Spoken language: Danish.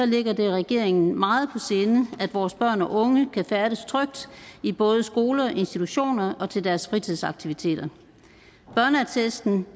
ligger det regeringen meget på sinde at vores børn og unge kan færdes trygt både i skoler og institutioner og til deres fritidsaktiviteter børneattesten